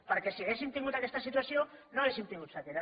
perquè si haguéssim tingut aquesta situació no hauríem tingut sequera